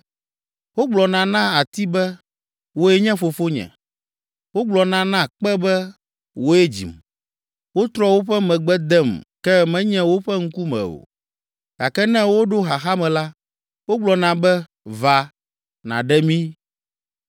Wogblɔna na ati be, ‘Wòe nye fofonye.’ Wogblɔna na kpe be, ‘Wòe dzim.’ Wotrɔ woƒe megbe dem ke menye woƒe ŋkume o, gake ne woɖo xaxa me la, wogblɔna be, ‘Va, nàɖe mí!’